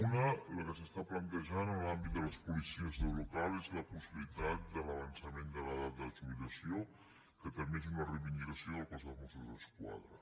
una la que s’està plantejant en l’àmbit de les policies locals és la possibilitat d’avançament de l’edat de jubilació que també és una reivindicació del cos de mossos d’esquadra